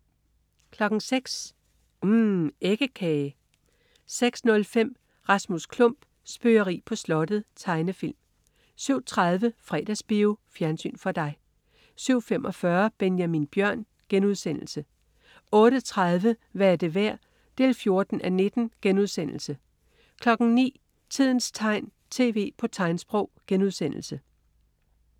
06.00 UMM. Æggekage 06.05 Rasmus Klump. Spøgeri på slottet. Tegnefilm 07.30 Fredagsbio. Fjernsyn for dig 07.45 Benjamin Bjørn* 08.30 Hvad er det værd? 14:19* 09.00 Tidens tegn. TV på tegnsprog*